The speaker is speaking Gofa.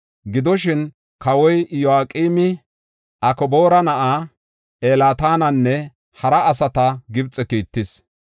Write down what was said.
Gidoshin, kawoy Iyo7aqeemi Akboora na7aa Elnaatananne hara asata Gibxe kiittis.